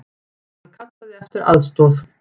Hann kallaði eftir aðstoð.